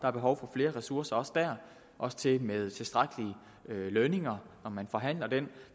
er behov for flere ressourcer også der også til med tilstrækkelige lønninger når man forhandler dem